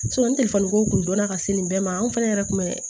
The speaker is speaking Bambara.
ni ko kun donna ka se nin bɛɛ ma an fɛnɛ yɛrɛ kun bɛ